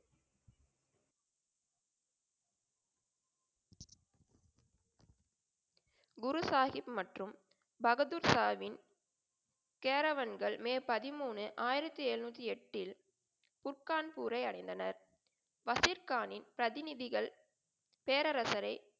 குரு சாஹிப் மற்றும் பகதூர்ஷாவின் கேரவன்கள் மே பதிமூணு ஆயிரத்ததி எழுநூத்தி எட்டில் குட் காண்பூரை அடைந்தனர். வசிர்கானின் பிரதிநிதிகள் பேரரசைரை,